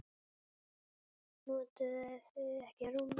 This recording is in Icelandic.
Notuðuð þið ekki rúmið?